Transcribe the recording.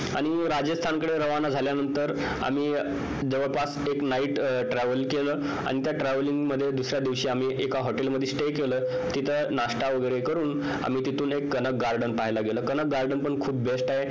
आणि राजस्थानकडे रवाना झाल्यानंतर आम्ही जवळपास एक night travel केलं आणि त्या travelling मध्ये दुसऱ्या दिवशी आम्ही एका hotel मध्ये stay केलं नाश्ता वगैरे करून आणि garden पाहायला गेलो कनक garden पण खूप best आहे